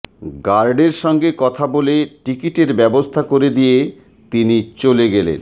গার্ডের সঙ্গে কথা বলে টিকিটের ব্যবস্থা করে দিয়ে তিনি চলে গেলেন